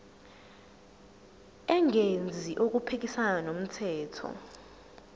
engenzi okuphikisana nomthetho